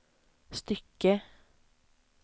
stycke